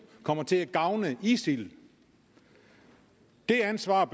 kommer til at gavne isil det ansvar